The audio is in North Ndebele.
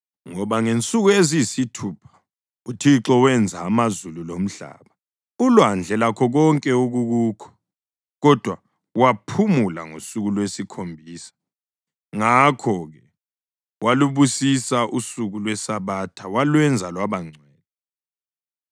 Ngoba ngensuku eziyisithupha uThixo wenza amazulu lomhlaba, ulwandle lakho konke okukukho, kodwa waphumula ngosuku lwesikhombisa. Ngakho-ke walubusisa usuku lweSabatha walwenza lwaba ngcwele.